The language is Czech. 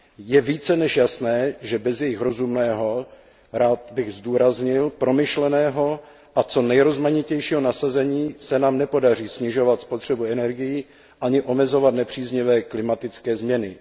Je více než jasné, že bez jejich rozumného rád bych zdůraznil promyšleného a co nejrozmanitějšího nasazení se nám nepodaří snižovat spotřebu energií ani omezovat nepříznivé klimatické změny.